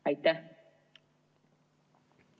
Aitäh!